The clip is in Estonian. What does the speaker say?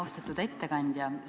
Austatud ettekandja!